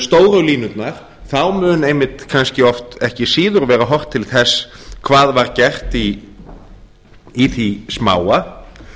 stóru línurnar þá mun einmitt kannski oft ekki síður verða horft til þess að hvað var gert í því smáa